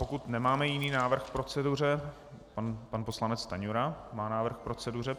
Pokud nemáme jiný návrh k proceduře - pan poslanec Stanjura má návrh k proceduře.